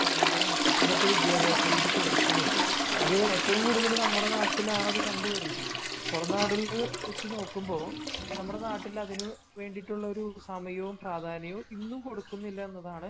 സമയം ഇന്നത്തെ വിദ്യാഭ്യാസ രീതി കൊടുക്കുന്നില്ല. അത് ഏറ്റവും കൂടുതൽ നമ്മുടെ നാട്ടിലാണത് കണ്ടു വരുന്നത്. പുറം നാടുകളെ വച്ചു നോക്കുമ്പോ നമ്മുടെ നാട്ടില് അതിനു വേണ്ടിയിട്ടുള്ള സമയവും പ്രാധാന്യവും ഇന്നും കൊടുക്കുന്നില്ല എന്നതാണ്